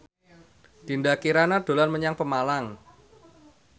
Dinda Kirana dolan menyang Pemalang